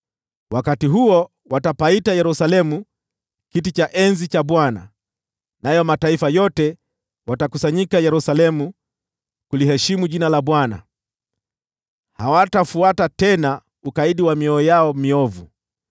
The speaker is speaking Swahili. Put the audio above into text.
Wakati huo, wataita Yerusalemu kuwa Kiti cha Enzi cha Bwana , nayo mataifa yote watakusanyika Yerusalemu kuliheshimu jina la Bwana . Hawatafuata tena ukaidi wa mioyo yao miovu.